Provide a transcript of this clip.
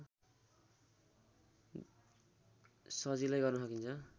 सजिलै गर्न सकिन्छ